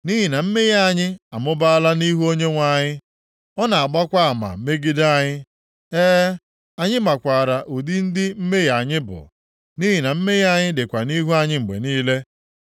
Nʼihi na mmehie anyị amụbaala nʼihu Onyenwe anyị; ọ na-agbakwa ama megide anyị. E, anyị makwaara ụdị ndị mmehie anyị bụ, nʼihi na mmehie anyị dịkwa nʼihu anyị mgbe niile.